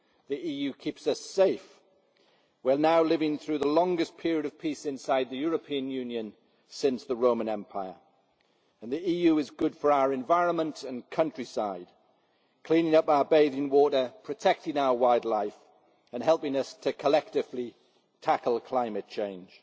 The EU keeps us safe we are now living through the longest period of peace inside the European Union since the Roman Empire and the EU is good for our environment and countryside, cleaning up our bathing water, protecting our wildlife and helping us to collectively tackle climate change.